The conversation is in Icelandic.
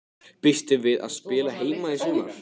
Býstu við að spila heima í sumar?